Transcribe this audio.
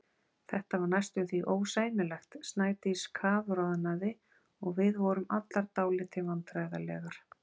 Þetta var næstum því ósæmilegt, Snædís kafroðnaði og við vorum allar dálítið vandræðalegar.